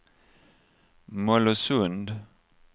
Mollösund